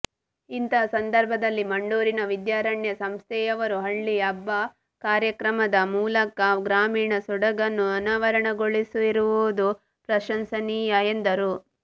ಇಂತಹ ಸಂದರ್ಭದಲ್ಲಿ ಮಂಡೂರಿನ ವಿದ್ಯಾರಣ್ಯ ಸಂಸ್ಥೆಯವರು ಹಳ್ಳಿ ಹಬ್ಬ ಕಾರ್ಯಕ್ರಮದ ಮೂಲಕ ಗ್ರಾಮೀಣ ಸೊಗಡನ್ನು ಅನಾವರಣಗೊಳಿಸಿರುವುದು ಪ್ರಶಂಸನೀಯ ಎಂದರು